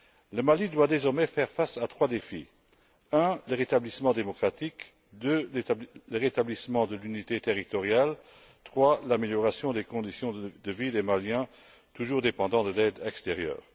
Le Mali doit désormais faire face à trois défis le rétablissement démocratique, le rétablissement de l'unité territoriale et l'amélioration des conditions de vie des Maliens toujours dépendants de l'aide extérieure.